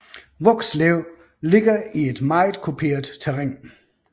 Vokslev ligger i et meget kuperet terræn